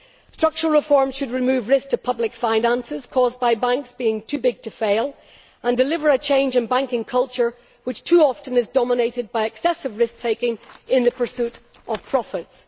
Structural reform should remove risk to public finances caused by banks being too big to fail and deliver a change in banking culture which too often is dominated by excessive risk taking in the pursuit of profits.